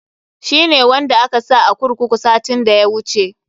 Shi ne wanda aka sa a kurkuru satin da ya wuce.